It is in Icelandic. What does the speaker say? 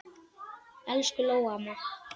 Elsku Lóa amma.